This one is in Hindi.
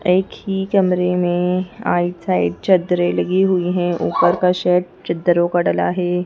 एक ही कमरे में आइट साइड चद्दरें लगी हुई हैं ऊपर का सैट चद्दरों का डला है।